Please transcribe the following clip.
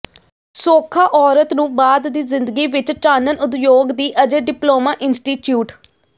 ਸੌਖਾ ਔਰਤ ਨੂੰ ਬਾਅਦ ਦੀ ਜ਼ਿੰਦਗੀ ਵਿਚ ਚਾਨਣ ਉਦਯੋਗ ਦੀ ਅਜੇ ਡਿਪਲੋਮਾ ਇੰਸਟੀਚਿਊਟ